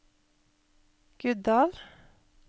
Guddal